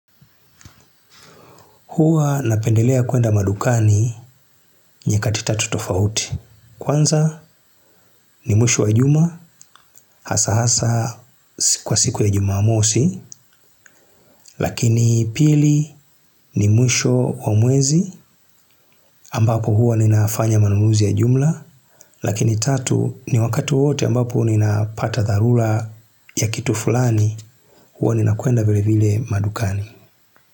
Huwa napendelea kuenda madukani nyakati tatu tofauti kwanza ni mwisho wa juma hasa hasa kwa siku ya Jumamosi lakini pili ni mwisho wa mwezi ambapo huwa ninafanya manunuzi ya jumla lakini tatu ni wakati wowote ambapo ninapata dharura ya kitu fulani huwa ninakwenda vilevile madukani.